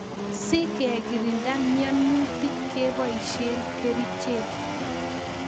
Si kekirinda mianutik ke poishe kerichek